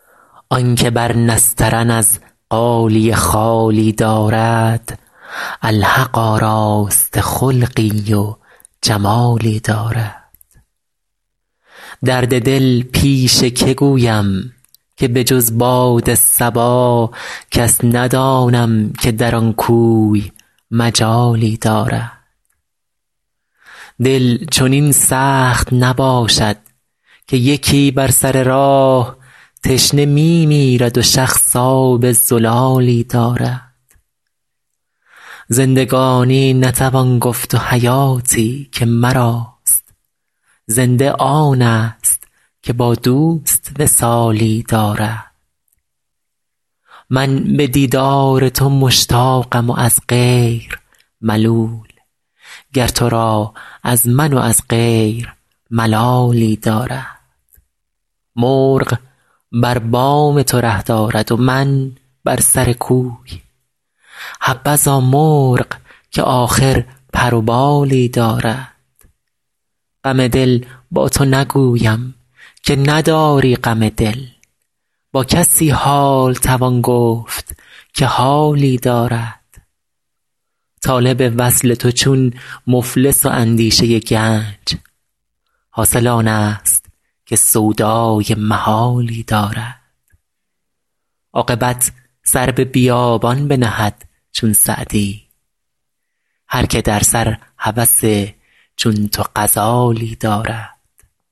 آن که بر نسترن از غالیه خالی دارد الحق آراسته خلقی و جمالی دارد درد دل پیش که گویم که به جز باد صبا کس ندانم که در آن کوی مجالی دارد دل چنین سخت نباشد که یکی بر سر راه تشنه می میرد و شخص آب زلالی دارد زندگانی نتوان گفت و حیاتی که مراست زنده آنست که با دوست وصالی دارد من به دیدار تو مشتاقم و از غیر ملول گر تو را از من و از غیر ملالی دارد مرغ بر بام تو ره دارد و من بر سر کوی حبذا مرغ که آخر پر و بالی دارد غم دل با تو نگویم که نداری غم دل با کسی حال توان گفت که حالی دارد طالب وصل تو چون مفلس و اندیشه گنج حاصل آنست که سودای محالی دارد عاقبت سر به بیابان بنهد چون سعدی هر که در سر هوس چون تو غزالی دارد